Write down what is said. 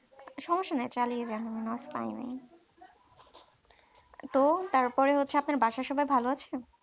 সমস্যা নাই চালিয়ে যান তো তারপরে হচ্ছে আপনার বাসার সবাই ভালো আছে তো